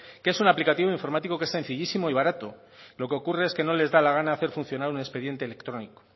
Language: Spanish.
que es un aplicativo informático que es sencillísimo y barato lo que ocurre es que no les da la gana hacer funcionar un expediente electrónico